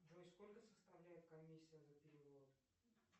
джой сколько составляет комиссия за перевод